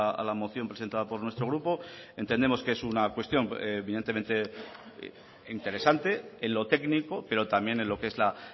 a la moción presentada por nuestro grupo entendemos que es una cuestión evidentemente interesante en lo técnico pero también en lo que es la